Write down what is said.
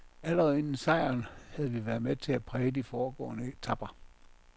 Allerede inden sejren, havde vi været med til at præge de foregående etaper.